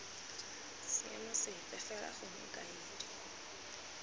seemo sepe fela gongwe kaedi